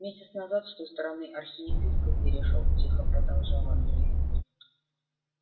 месяц назад с той стороны архиепископ перешёл тихо продолжал андрей